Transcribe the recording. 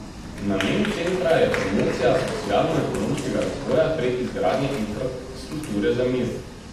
Namen centra je promocija socialnoekonomskega razvoja prek izgradnje infrastrukture za mir.